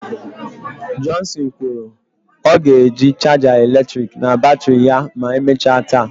Johnson kwuru " ọ ga-eji chaja eletrik na batrị ya ma emechaa taa."